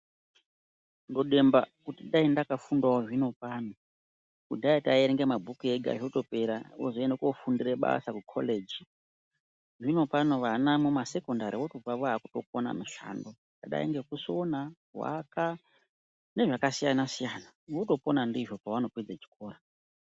Ndodemba kuti daindakafundawo zvino pano kudhaya taierenga mabhuku ega zvotopera wozoende kofundire basa kukorejii zvinopano vana mumasekondari votobve vakutokona kuite mishando yakadai ngekusona, kuaka nezvakasiyanasiyana votopona ndizvo pavanopedza chikora.